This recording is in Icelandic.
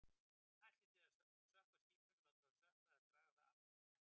Ætlið þið að sökkva skipinu, láta það sökkva eða draga það aftur til hafnar?